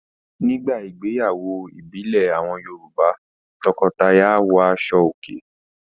Nígbà ìgbéyàwó ìbílẹ̀ àwọn Yorùbá. Tọkọtaya áwọ aṣọòkè.